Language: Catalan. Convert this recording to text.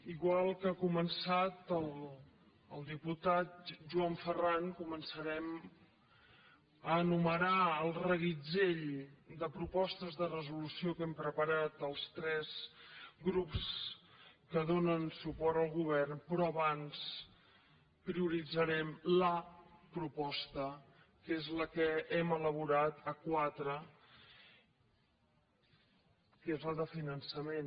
igual com ha començat el diputat joan ferran començarem a enumerar el reguitzell de propostes de resolució que hem preparat els tres grups que donen suport al govern però abans prioritzarem que és la de finançament